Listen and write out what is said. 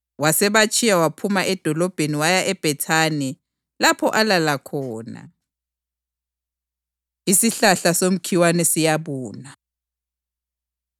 Wasebatshiya waphuma edolobheni waya eBhethani lapho alala khona. Isihlahla Somkhiwa Siyabuna